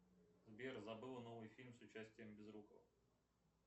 сбер забыла новый фильм с участием безрукова